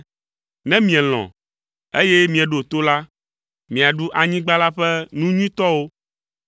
Ne mielɔ̃, eye mieɖo to la, miaɖu anyigba la ƒe nu nyuitɔwo.